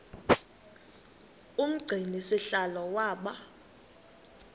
umgcini sihlalo waba